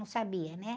Não sabia, né?